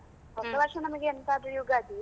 ಹೊಸವರ್ಷ ನಮಗೆ ಎಂತಾದ್ರು ಯುಗಾದಿ.